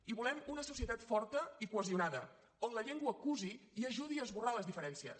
i volem una societat forta i cohesionada on la llengua cusi i ajudi a esborrar les diferències